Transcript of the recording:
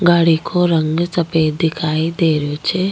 गाड़ी को रंग सफेद दिखाई दे रहो छ।